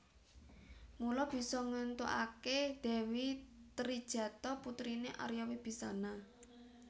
Mula bisa ngéntukaké Dewi Trijatha putriné Arya Wibisana